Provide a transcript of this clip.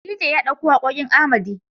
DJ ya ɗauko waƙoƙin Arhmedy.